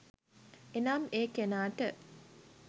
එනම් ඒ කෙනාට